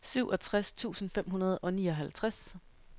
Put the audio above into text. syvogtres tusind fem hundrede og nioghalvtreds